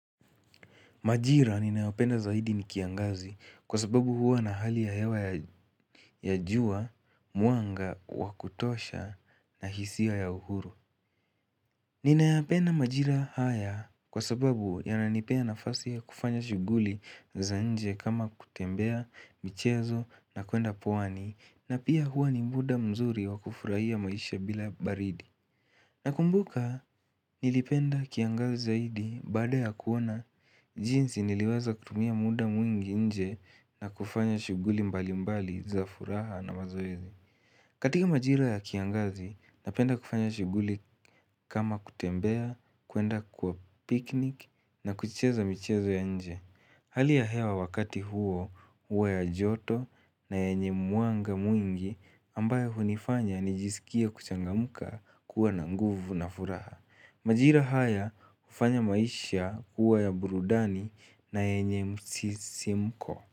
Majira ninayopenda zaidi ni kiangazi kwa sababu huwa na hali ya hewa ya jua, mwanga, wa kutosha na hisiwa ya uhuru. Ninayapenda majira haya kwa sababu yananipea nafasi ya kufanya shughuli za nje kama kutembea michezo na kwenda pwani na pia huwa ni muda mzuri wa kufurahia maisha bila baridi. Nakumbuka nilipenda kiangazi zaidi baada ya kuona jinsi niliweza kutumia muda mwingi nje na kufanya shughuli mbali mbali za furaha na mazoezi. Katika majiro ya kiangazi, napenda kufanya shughuli kama kutembea, kwenda kwa piknik na kucheza michezo ya nje. Hali ya hewa wakati huo huwa ya joto na yenye mwanga mwingi ambayo hunifanya nijisikie kuchangamka kuwa na nguvu na furaha. Majira haya hufanya maisha huwa ya burudani na yenye msisimko.